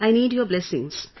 I need your blessings